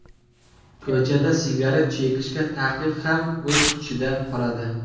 Ko‘chada sigaret chekishga taqiq ham o‘z kuchida qoladi.